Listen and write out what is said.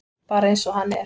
Bara eins og hann er.